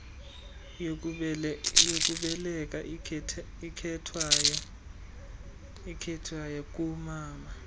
yokubeleka ikhethwayo koomama